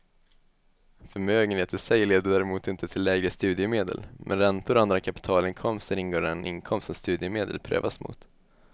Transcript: Förmögenhet i sig leder däremot inte till lägre studiemedel, men räntor och andra kapitalinkomster ingår i den inkomst som studiemedel prövas mot.